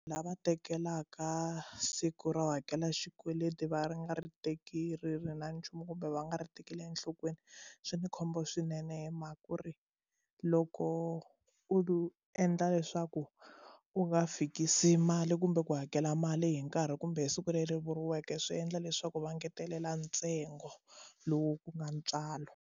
Lava tekelaka siku ro hakela xikweleti va ri nga ri teki ri ri na nchumu kumbe va nga ri tekeli enhlokweni swi ni khombo swinene hi mhaka ku ri loko u endla leswaku u nga fikisi mali kumbe ku hakela mali hi nkarhi kumbe siku leri vuriweke swi endla leswaku va ngetelela ntsengo lowu ku nga ntswalo.